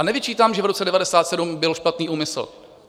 A nevyčítám, že v roce 1997 byl špatný úmysl.